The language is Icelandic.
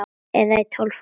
Eða í tólf ár?